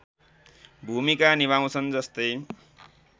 भूमिका निभाउँछन् जस्तै